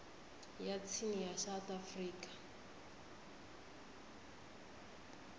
ya tsini ya south african